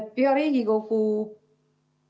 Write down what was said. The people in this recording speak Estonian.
Hea Riigikogu!